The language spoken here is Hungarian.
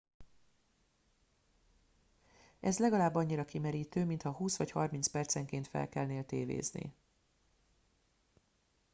ez legalább annyira kimerítő mintha húsz vagy harminc percenként felkelnél tévézni